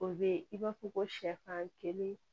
O be i b'a fɔ ko sɛfan kelen